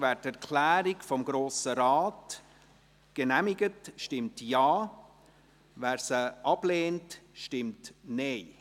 Wer die Erklärung des Grossen Rates genehmigt, stimmt Ja, wer sie ablehnt, stimmt Nein.